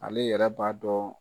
Ale yɛrɛ b'a dɔn.